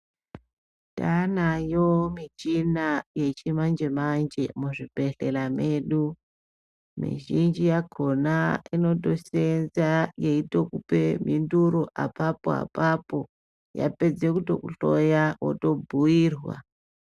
Tanayo michina yechimanje manje muzvibhedhleya medu, mizhinji yachona inotoseenza yeitokupe mhinduro apapo apapo yapedze kutokuhloya wotobhiyirwa.